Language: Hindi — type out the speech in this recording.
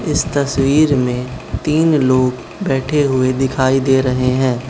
इस तस्वीर में तीन लोग बैठे हुए दिखाई दे रहे हैं।